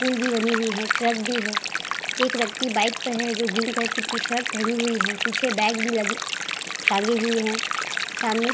पुल भी बनी हुई है। ट्रक भी है। एक व्यक्ति बाइक पे है जो ग्रीन कलर की टी-शर्ट पहनी हुई है। पीछे बैग भी लगी टांगी हुई है। सामने --